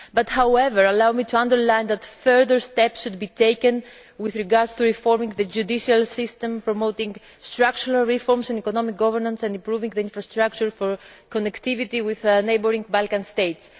However, allow me to underline that further steps should be taken with regard to reforming the judicial system, promoting structural reforms and economic governance, and improving the infrastructure for connectivity with neighbouring Balkan states.